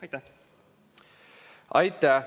Aitäh!